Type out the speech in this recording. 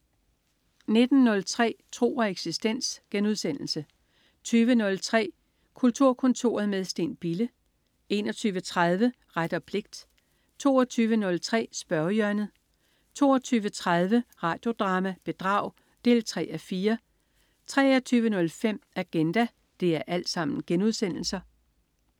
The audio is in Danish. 19.03 Tro og eksistens* 20.03 Kulturkontoret med Steen Bille* 21.30 Ret og pligt* 22.03 Spørgehjørnet* 22.30 Radio Drama: Bedrag 3:4* 23.05 Agenda*